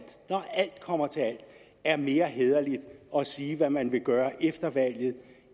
når alt kommer til alt mere hæderligt at sige hvad man vil gøre efter valget